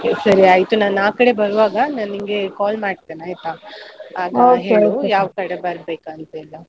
ಸರಿ ಆಯ್ತು, ನಾನ್ ಆಕಡೆ ಬರುವಾಗ ನಾನಿಂಗೆ call ಮಾಡ್ತೀನೆ ಆಯ್ತಾ? ಯಾವ್ಕಡೆ ಬರ್ಬೇಕಂತೆಲ್ಲಾ?